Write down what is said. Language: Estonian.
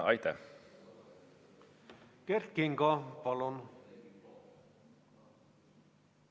Kert Kingo, palun!